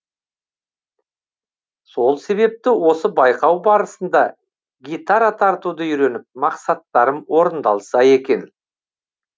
сол себепті осы байқау барысында гитара тартуды үйреніп мақсаттарым орындалса екен